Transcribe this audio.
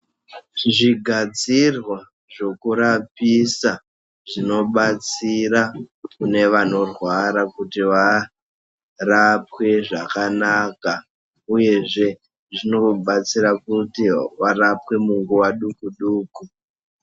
Zvigadzirwa zvokurapisa zvinobatsira kune vanorwara kuti varapwe zvakanaka, uyezve zvinobatsira kuti varapwe munguva duku-duku.